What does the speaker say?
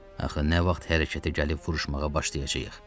Axı nə vaxt hərəkətə gəlib vuruşmağa başlayacağıq?